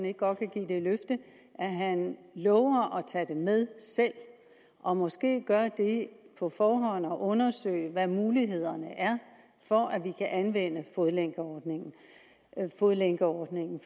ikke godt kan give det løfte at han lover at tage det med selv og måske gøre det på forhånd at undersøge hvad mulighederne er for at vi kan anvende fodlænkeordningen fodlænkeordningen